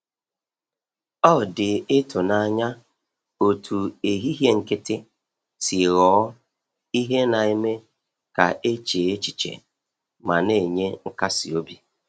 Ọ dị ịtụnanya otú ehihie nkịtị si ghọọ ihe na-eme ka e chee echiche ma na-enye nkasi obi.